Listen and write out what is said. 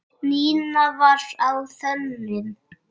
Nína var á þönum.